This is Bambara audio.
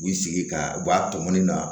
U b'i sigi ka u b'a tɔmɔli na